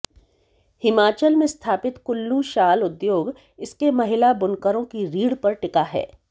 हिमाचल में स्थापित कुल्लू शाल उद्योग इसके महिला बुनकरों की रीढ़ पर टिका है